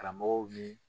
Karamɔgɔw ni